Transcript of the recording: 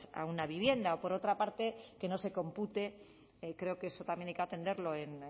a una vivienda por otra parte que no se compute creo que eso también hay que atenderlo en